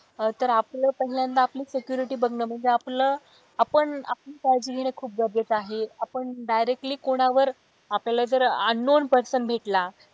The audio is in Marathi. तर आपलं पहिल्यांदा आपली security बघणं म्हणजे आपल आपण आपली काळजी घेणं खूप गरजेचं आहे आपण directly कोणावर आपल्याला जर unknown person भेटला,